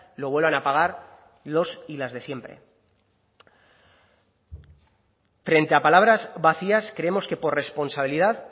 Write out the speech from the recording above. lo vuelvan a pagar los y las de siempre frente a palabras vacías creemos que por responsabilidad